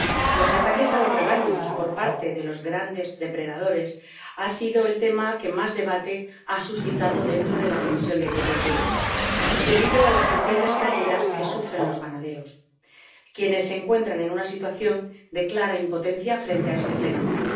Los ataques a los rebaños por parte de los grandes depredadores han sido el tema que más debate ha suscitado dentro de la Comisión de Agricultura debido a las crecientes pérdidas que sufren los ganaderos, quienes se encuentran en una situación de clara impotencia frente a este fenómeno.